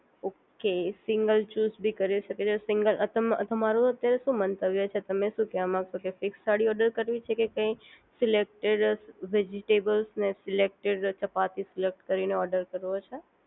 okay single choose બી કરી શકે છે સિંગલ અ તમ તમારો અત્યારે શું મંતવ્ય છે તમે શું કહેવા માગશો કે અત્યારે ફિક્સ થાળી ઓર્ડર કરવી છે કે કઈ સિલેક્ટેડ વેજીટેબલ સિલેક્ટેડ સપાટી સિલેક્ટ કરીને ઓર્ડર કરવો છે